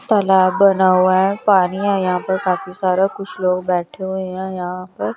तलाब बना हुआ हैं पानी हैं यहाॅं पर काफी सारा कुछ लोग बैठे हुए हैं यहाॅं पर--